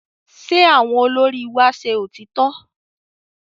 Ṣé àwọn olórí wa ṣẹ òtítọ́?